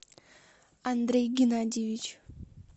андрей геннадьевич